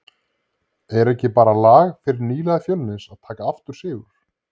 Er ekki bara lag fyrir nýliða Fjölnis að taka aftur sigur?